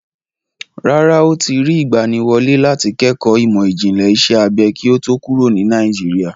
Rárá, ó ti rí ìgbaniwọlé láti kẹ́kọ̀ọ́ ìmọ̀ ìjìnlẹ̀ iṣẹ́ abẹ kí ó tó kúrò ní Nàìjíríà.